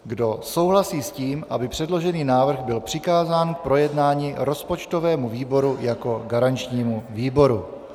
Kdo souhlasí s tím, aby předložený návrh byl přikázán k projednání rozpočtovému výboru jako garančnímu výboru?